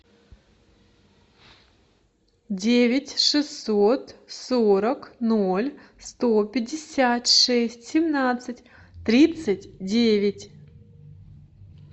девять шестьсот сорок ноль сто пятьдесят шесть семнадцать тридцать девять